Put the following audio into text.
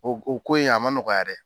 O o ko yen a ma nɔgɔya dɛ